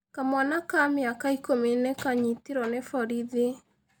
Kamwana ka mĩaka ikũmi nĩ kaanyitirũo nĩ borithi.